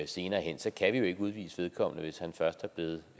senere hen kan vi jo ikke udvise vedkommende hvis han først er blevet